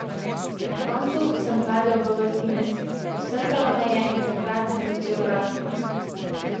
Na koncu sem padel v vrtinec, posrkalo me je in takrat sem začel rasti ...